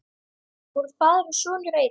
Voru faðir og sonur einn?